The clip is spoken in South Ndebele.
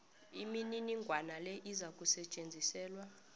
imininingwana le izakusetjenziselwa